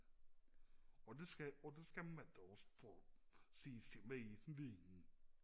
og det skal og det skal man da også for at sige sin mening